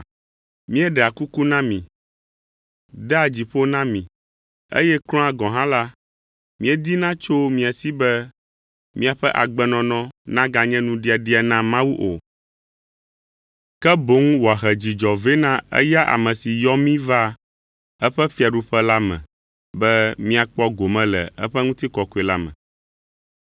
Míeɖea kuku na mi, dea dzi ƒo na mi, eye kura gɔ̃ hã la, míedina tso mia si be miaƒe agbenɔnɔ naganye nuɖiaɖia na Mawu o, ke boŋ wòahe dzidzɔ vɛ na eya ame si yɔ mí va eƒe fiaɖuƒe la me be míakpɔ gome le eƒe ŋutikɔkɔe la me.